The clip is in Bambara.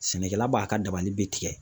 Sɛnɛkɛla b'a ka dabali be tigɛ